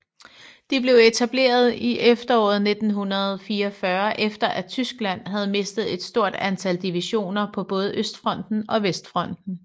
De blev etableret i efteråret 1944 efter at Tyskland havde mistet et stort antal divisioner på både Østfronten og Vestfronten